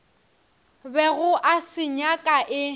bego a se nyaka e